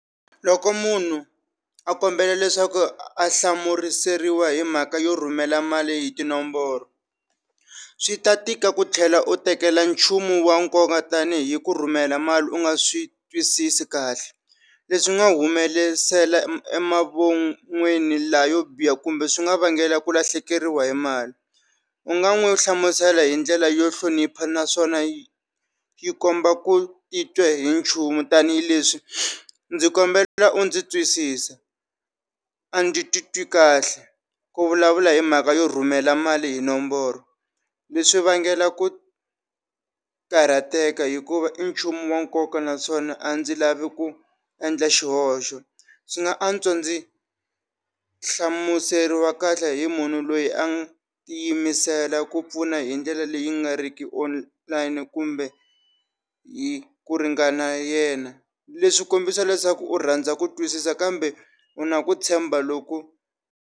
Loko munhu a kombela leswaku a hlamuriseriwa hi mhaka yo rhumela mali hi tinomboro swi ta tika ku tlhela u tekela nchumu wa nkoka tanihi ku rhumela mali u nga swi twisisi kahle leswi nga humelesela laha yo biha kumbe swi nga vangela ku lahlekeriwa hi mali u nga n'wi hlamusela hi ndlela yo hlonipha naswona yi yi komba ku titwa hi nchumu tanihileswi ndzi kombela u ndzi twisisa a ndzi titwi kahle ku vulavula hi mhaka yo rhumela mali hi nomboro leswi vangela ku karhateka hikuva i nchumu wa nkoka naswona a ndzi lavi ku endla xihoxo swi nga antswa ndzi hlamuseriwa kahle hi munhu loyi a tiyimisela ku pfuna hi ndlela leyi nga riki online kumbe hi ku ringana yena leswi kombisa leswaku u rhandza ku twisisa kambe u na ku tshemba loko.